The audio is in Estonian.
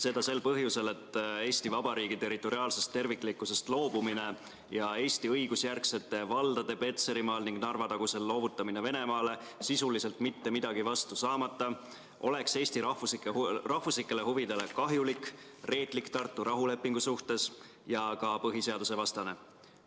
Seda sel põhjusel, et Eesti Vabariigi territoriaalsest terviklikkusest loobumine ja Eesti õigusjärgsete valdade Petserimaal ning Narva-tagusel loovutamine Venemaale sisuliselt mitte midagi vastu saamata oleks Eesti rahvuslikele huvidele kahjulik, reetlik Tartu rahulepingu suhtes ja ka põhiseadusevastane.